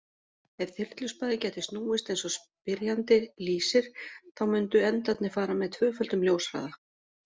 Ef þyrluspaði gæti snúist eins og spyrjandi lýsir þá mundu endarnir fara með tvöföldum ljóshraða.